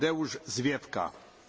Panie Przewodniczący!